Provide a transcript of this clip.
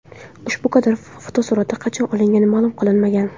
Ushbu kadr fotosurati qachon olingani ma’lum qilinmagan.